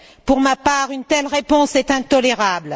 Pour ma part, une telle réponse est intolérable.